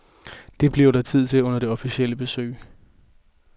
Det bliver der tid til under det officielle besøg.